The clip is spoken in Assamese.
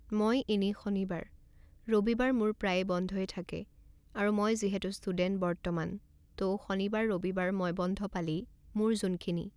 মই এনেই শনিবাৰ, ৰবিবাৰ মোৰ প্ৰায়ে বন্ধয়ে থাকে আৰু মই যিহেতু ষ্টুডেন্ট বৰ্তমান ত' শনিবাৰ ৰবিবাৰ মই বন্ধ পালেই মোৰ যোনখিনি